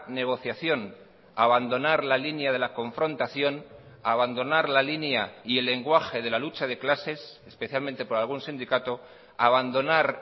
negociación abandonar la línea de la confrontación abandonar la línea y el lenguaje de la lucha de clases especialmente por algún sindicato abandonar